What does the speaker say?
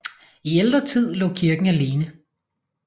I ældre tid lå kirken alene